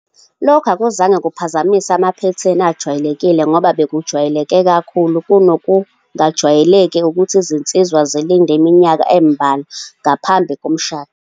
Lokhu akuzange kuphazamise amaphethini ajwayelekile ngoba bekujwayeleke kakhulu kunokungajwayelekile ukuthi izinsizwa zilinde iminyaka embalwa ngaphambi komshado.